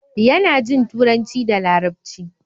yana Jin turanci da larabci